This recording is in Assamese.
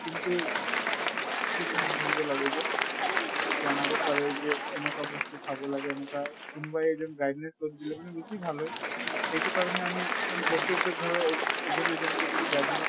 কিন্তু থাকিব লাগে যে জানাব পাৰে যে এনকা বস্তু খাব লাগে এনকা কোন বা এজন guidance অলপ দিলে মানে ভাল হয়। এইটো কাৰণে আমি মানে প্ৰত্য়েকতো ঘৰৰ এজন এজন কে যদি guidance